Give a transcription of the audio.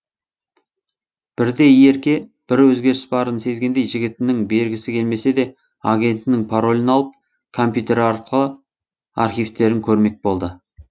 бірде ерке бір өзгеріс барын сезгендей жігітінің бергісі келмесе де агентінің паролін алып компьютер арқылы архивтерін көрмек болды